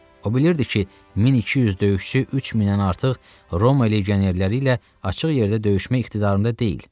O bilirdi ki, 1200 döyüşçü 3000-dən artıq Roma legionerləri ilə açıq yerdə döyüşmə iqtidarında deyil.